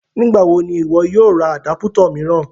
Nígbà wò ni iwọ̀ yóò rá àdápụ̀tọ̀ miiran?